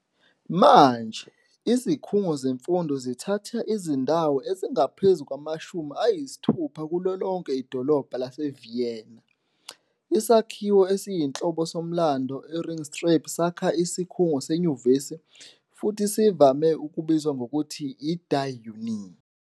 Manje, izikhungo zemfundo zithatha izindawo ezingaphezu kwamashumi ayisithupha kulo lonke idolobha laseVienna. Isakhiwo esiyinhloko somlando e-Ringstraße sakha isikhungo senyuvesi futhi sivame ukubizwa ngokuthi "i-die Uni".